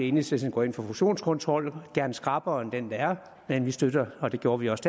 enhedslisten går ind for fusionskontrol gerne skrappere end den der er men vi støtter og det gjorde vi også